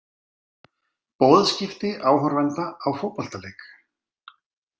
Boðskipti áhorfenda á fótboltaleik.